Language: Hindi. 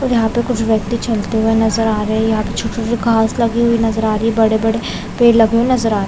और यहाँ पे कुछ व्यक्ति चलते हुए नजर आ रहे है। यहाँ छोटे-छोटे घास लगे हुए नजर आ रही है। बड़े बड़े पेड़ लगे हुए नजर आ रहे है।